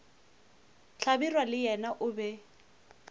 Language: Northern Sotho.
hlabirwa le yena o be